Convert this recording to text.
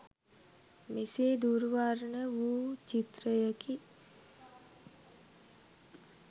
මෙසේ දුර් වර්ණ වූ චිත්‍රයකි.